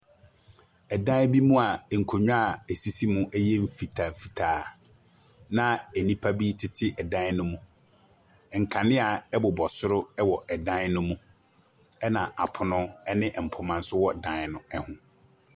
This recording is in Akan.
Ɛdan bi mu a nkonnwa a esisi mu yɛ mfitaamfitaa, na nnipa tete dan no mu. Nkanea bobɔ soro wɔ dan no mu. Na apono ne mpoma nso wɔn dan no ho.